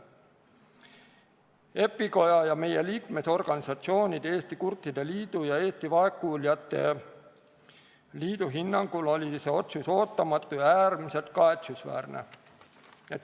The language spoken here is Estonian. EPIKoja ja meie liikmesorganisatsioonide, Eesti Kurtide Liidu ja Eesti Vaegkuuljate Liidu hinnangul oli see otsus ootamatu ja äärmiselt kahetsusväärne.